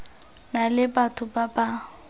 na le batho ba ba